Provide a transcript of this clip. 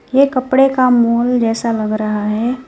ये कपड़े का मॉल जैसा लग रहा है।